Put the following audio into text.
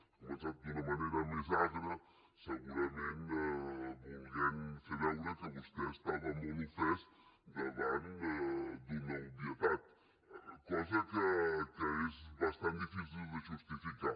ha començat d’una manera més agra segurament volent fer veure que vostè estava molt ofès davant d’una obvietat cosa que és bastant difícil de justificar